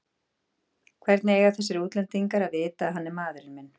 Hvernig eiga þessir útlendingar að vita að hann er maðurinn minn?